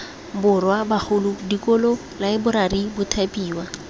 borwa bagolo dikolo laeborari mothapiwa